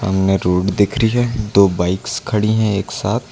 इनमें रोड दिख रही है दो बाइक्स खड़ी है एक साथ।